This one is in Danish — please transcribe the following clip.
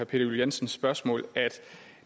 juel jensens spørgsmål at